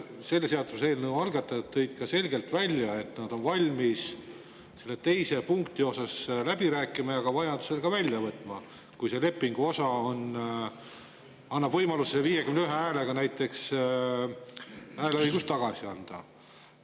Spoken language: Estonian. Selle seaduseelnõu algatajad tõid ju selgelt välja, et nad on valmis teise punkti osas läbi rääkima ja selle vajadusel ka välja võtma, kui see leping annaks võimaluse näiteks 51 häälega hääleõigus tagasi anda.